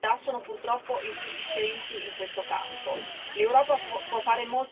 I controlli da parte delle autorità sono purtroppo insufficienti in questo campo.